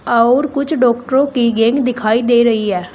और कुछ डॉक्टरों की गैंग दिखाई दे रही है।